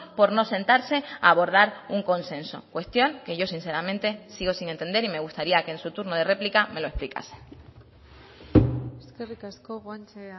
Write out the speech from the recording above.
por no sentarse a abordar un consenso cuestión que yo sinceramente sigo sin entender y me gustaría que en su turno de réplica me lo explicase eskerrik asko guanche